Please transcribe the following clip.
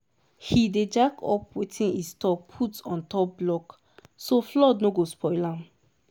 he dey jack up wetin e store put on top block so flood no go spoil am.